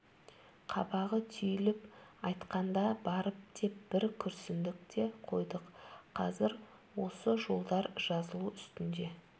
қабағы түйіліп айтқанда барып деп бір күрсіндік те қойдық қазір осы жолдар жазылу үстінде